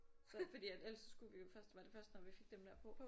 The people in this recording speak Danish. Så fordi at ellers skulle vi jo så var det først når vi fik dem der på